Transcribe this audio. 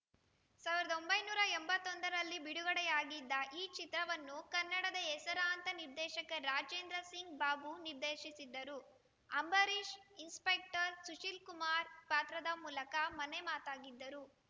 ಸಾವಿರದ ಒಂಬೈನೂರ ಎಂಬತ್ತೊಂದರಲ್ಲಿ ಬಿಡುಗಡೆಯಾಗಿದ್ದ ಈ ಚಿತ್ರವನ್ನು ಕನ್ನಡದ ಹೆಸರಾಂತ ನಿರ್ದೇಶಕ ರಾಜೇಂದ್ರ ಸಿಂಗ್‌ ಬಾಬು ನಿರ್ದೇಶಿಸಿದ್ದರು ಅಂಬರೀಷ್‌ ಇನ್ಸ್‌ಪೆಕ್ಟರ್‌ ಸುಶೀಲ್‌ಕುಮಾರ್‌ ಪಾತ್ರದ ಮೂಲಕ ಮನೆ ಮಾತಾಗಿದ್ದರು